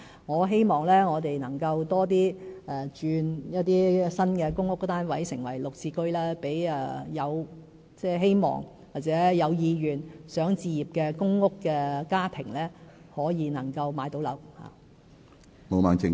我希望我們將更多新的公屋單位轉為"綠置居"，讓希望或有意願置業的公屋家庭可以買樓。